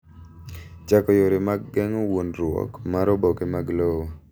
Chako yore mag geng’o wuondoruok mar oboke mag lowo.